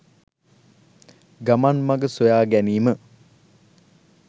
ගමන් මග සොයා ගැනීම